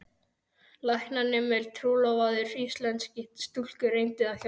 Læknanemi trúlofaður íslenskri stúlku reyndi að hjálpa.